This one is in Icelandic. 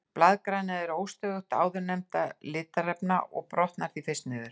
Blaðgræna er óstöðugust áðurnefndra litarefna og brotnar því fyrst niður.